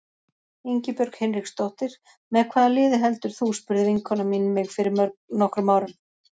Ingibjörg Hinriksdóttir Með hvaða liði heldur þú? spurði vinkona mín mig fyrir nokkrum árum.